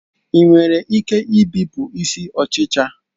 Ị nwere ike ibipụ isi ọchịcha